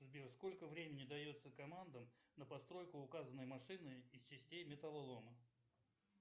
сбер сколько времени дается командам на постройку указанной машины из частей металлолома